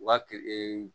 Wa ke